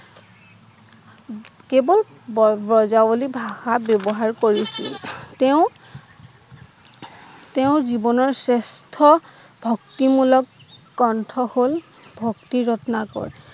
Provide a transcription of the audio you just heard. cable বৰ বজাবলী ভাষা, ব্যবহাৰ কৰিছিল তেওঁ তেওঁৰ জীবনৰ শ্ৰেষ্ট ভক্তিমূলক কণ্ঠ হল ভক্তি ৰত্নাকৰ